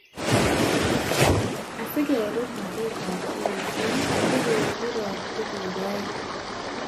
Asikerub magetab KEC, kokokiro tuguk aeng